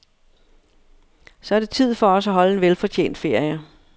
Så er det tid for os at holde en velfortjent ferie.